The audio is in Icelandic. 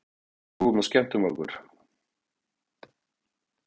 Við hlógum og skemmtum okkur.